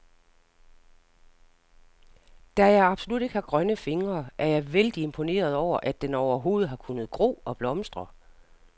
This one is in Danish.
Da jeg absolut ikke har grønne fingre, er jeg vældig imponeret over, at den overhovedet har kunnet gro og blomstre.